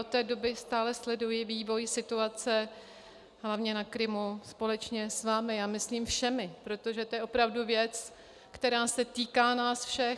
Od té doby stále sleduji vývoj situace hlavně na Krymu společně s vámi, a myslím všemi, protože to je opravdu věc, která se týká nás všech.